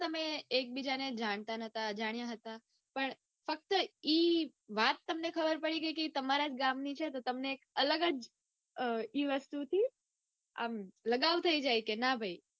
તમે જાણતા નઈ અજાણ્યા હતા પણ ફક્ત ઈ વાત તમને ખબર પડી ગઈ કે એ તમારા ગામની છે તો તમે અલગ જ એ વસ્તુથી આમ લગાવ થઇ જાય કે ના ભાઈ